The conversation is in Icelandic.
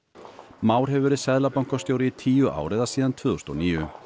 Már hefur verið seðlabankastjóri í tíu ár eða síðan tvö þúsund og níu